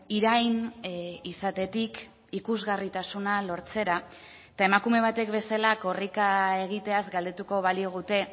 irain izatetik ikusgarritasuna lortzera eta emakume batek bezala korrika egiteaz galdetuko baligute